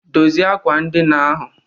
Dozie ákwà ndina ahụ